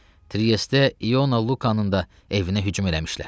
Triestdə İona Lukanın da evinə hücum eləmişlər.